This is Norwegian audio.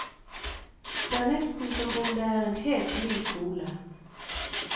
Det er nesten som om det er en helt ny skole.